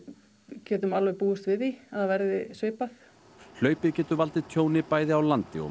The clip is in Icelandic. getum alveg búist við því að það verði svipað hlaupið getur valdið tjóni bæði á landi og